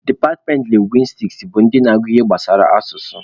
Departmentị lingwistiks bụ ndị na-agụ ihe gbasara asụsụ.